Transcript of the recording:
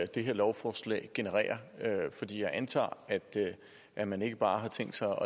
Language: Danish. det her lovforslag genererer jeg antager at man ikke bare har tænkt sig